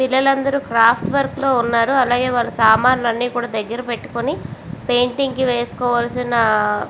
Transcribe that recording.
పిల్లలు అందరు craft work లో ఉన్నారు అలాగే వాలా సమన్లు అని కూడా దగర పెటుకొని పెయింటింగ్స్ కి వేసుకోవలిసిన ఆ.